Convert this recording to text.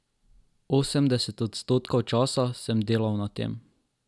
Osemdeset odstotkov časa sem delal na tem.